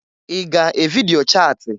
I ga evidio chati?